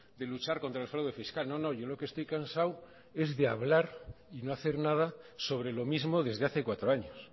de luchar contra el fraude fiscal no no yo lo que estoy cansado es de hablar y no hacer nada sobre lo mismo desde hace cuatro años